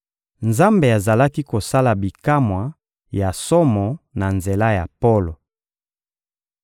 Nzambe azalaki kosala bikamwa ya somo na nzela ya Polo.